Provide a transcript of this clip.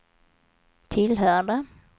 tillhörde